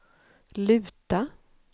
luta